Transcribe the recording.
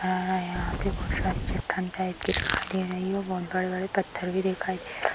यहाँ पे बोहोत सारी चट्टान टाइप के दिखाई दे रही है और बोहोत बड़े-बड़े पत्थर भी दिखाई दे रहे --